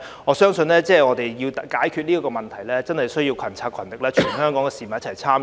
我相信我們要解決這問題，需要群策群力，全港市民一起參與。